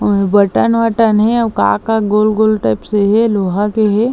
Button वटन हे अउ का का गोल गोल टाइप से हे लोहा के हे।